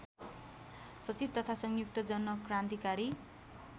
सचिव तथा संयुक्त जनक्रान्तिकारी